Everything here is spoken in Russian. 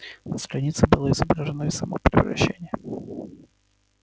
на странице было изображено и само превращение